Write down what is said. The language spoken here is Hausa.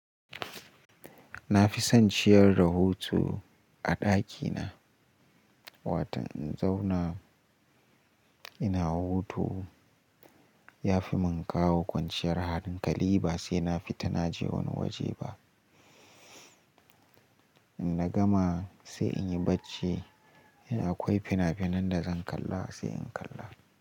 Nafi son ciyar rahoto a ɗakina. Watau in zauna ina hutu yafi mun kawo kwanciyar halin. Kali ba saina fita naje wani waje ba. Inna gama sai inyi bacci. In akwai finafinan dazan kalla sai in kalla.